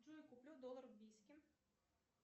джой куплю доллар в бийске